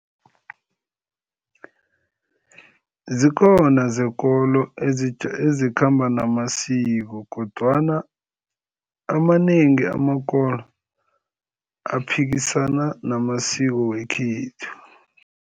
Zikhona zekolo ezikhamba namasiko kodwana amanengi amakolo aphikisana namasiko wekhethu.